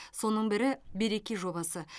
соның бірі береке жобасы